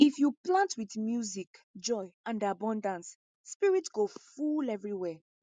if you plant with music joy and abundance spirit go full everywhere